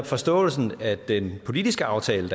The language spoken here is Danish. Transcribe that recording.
forståelsen af den politiske aftale